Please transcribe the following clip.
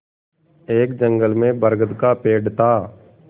एक जंगल में बरगद का पेड़ था